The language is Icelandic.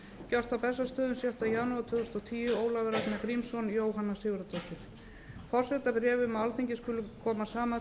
gert á bessastöðum sjötta janúar tvö þúsund og tíu ólafur ragnar grímsson jóhanna sigurðardóttir forsetabréf um að alþingi skuli koma saman